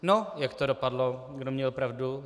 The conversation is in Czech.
No, jak to dopadlo, kdo měl pravdu?